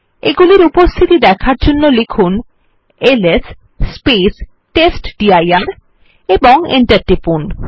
এইগুলির উপস্থিতি দেখার জন্য লিখুন এলএস টেস্টডির এবং Enter টিপুন